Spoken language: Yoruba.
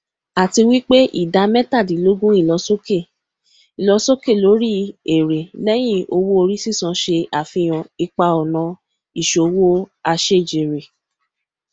a ti wipe ida metadinlogun ilosoke ilosoke lori ere leyin owo ori sisan se afihan ipa ona isowo asejere